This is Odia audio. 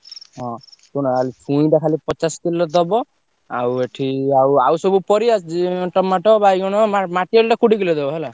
ହଁ ଶୁଣ ଆଉ ଛୁଇଁଟା ଖାଲି ପଚାଶ କିଲୋ ଦବ। ଆଉ ଏଠି ଆଉ ଆଉ ସବୁ ପରିବା ଯି~ tomato ବାଇଗଣ, ~ମା ମାଟିଆଳୁଟା କୋଡିଏ କିଲେ ଦବ ହେଲା।